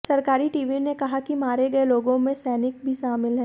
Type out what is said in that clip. सरकारी टीवी ने कहा कि मारे गए लोगों में सैनिक भी शामिल हैं